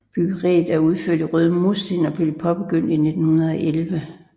Byggeriet er udført i røde mursten og blev påbegyndt i 1911